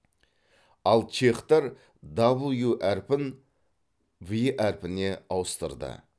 ал чехтар даблю әрпін ви әрпіне ауыстырды